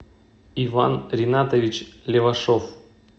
иван ринатович левашов